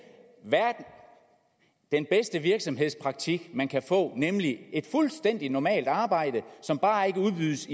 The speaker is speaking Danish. den bedste virksomhedspraktik man kan få nemlig et fuldstændig normalt arbejde som bare ikke udbydes